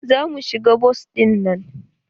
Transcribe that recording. Za mu shiga bas ɗinnan?